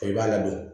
I b'a ladon